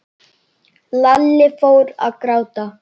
Lalli fór að gráta.